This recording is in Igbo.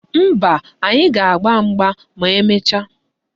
Mba, anyị ga-agba mgba ma emecha